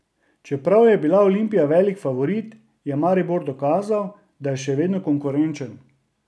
Čeprav je bila Olimpija velik favorit, je Maribor dokazal, da je še vedno konkurenčen.